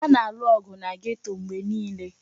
A na-alụ ọgụ na geto mgbe niile.